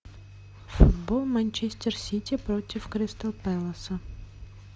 футбол манчестер сити против кристал пэласа